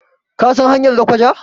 kasan hanyar lakwaja?